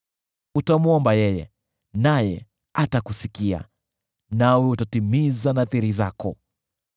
Utamwomba yeye, naye atakusikia, nawe utazitimiza nadhiri zako.